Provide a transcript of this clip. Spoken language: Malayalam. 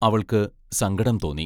അവൾക്ക്‌ സങ്കടം തോന്നി.